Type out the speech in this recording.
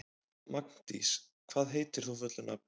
Magndís, hvað heitir þú fullu nafni?